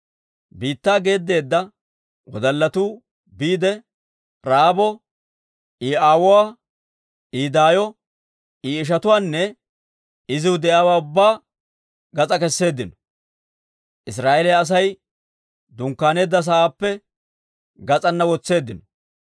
Biittaa geeddeedda wodallatuu biide, Ra'aabo, I aawuwaa, I daayo, I ishatuwaanne iziw de'iyaawaa ubbaa gas'aa kesseeddino. Israa'eeliyaa Asay dunkkaaneedda sa'aappe gas'ana wotseeddino.